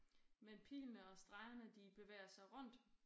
Men pilene og stregerne de bevæger sig rundt